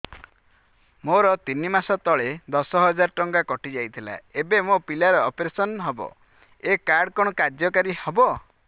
ମୋର ତିନି ମାସ ତଳେ ଦଶ ହଜାର ଟଙ୍କା କଟି ଯାଇଥିଲା ଏବେ ମୋ ପିଲା ର ଅପେରସନ ହବ ଏ କାର୍ଡ କଣ କାର୍ଯ୍ୟ କାରି ହବ